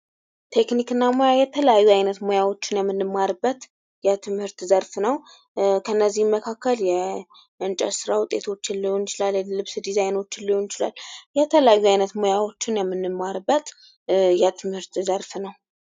ቴክኒክ እና ሙያ የተለያዩ አይነት ሙያዎችን የምንማርበት የትምህርት ዘርፍ ነዉ። ከእነዚህም መካከል የእንጨት ስራ ዉጤቶችን ሊሆን ይችላል። የልብስ ዲዛይኖችን ሊሆን ይችላል። የተለያዩ የሙያ አይነቶችን የምንማርበት የትምህርተ ዘርፍ ነዉ።